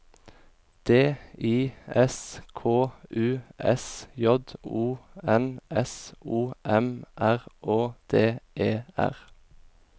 D I S K U S J O N S O M R Å D E R